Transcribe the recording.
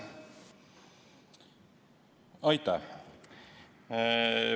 Aitäh!